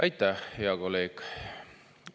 Aitäh, hea kolleeg!